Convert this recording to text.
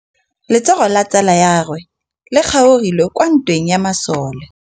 Letsôgô la tsala ya gagwe le kgaogile kwa ntweng ya masole.